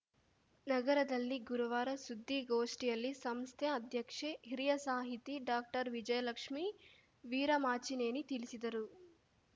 ನಗರದಲ್ಲಿ ಗುರುವಾರ ಸುದ್ದಿಗೋಷ್ಠಿಯಲ್ಲಿ ಸಂಸ್ಥೆ ಅಧ್ಯಕ್ಷೆ ಹಿರಿಯ ಸಾಹಿತಿ ಡಾಕ್ಟರ್ವಿಜಯಲಕ್ಷ್ಮೀ ವೀರಮಾಚಿನೇನಿ ತಿಳಿಸಿದರು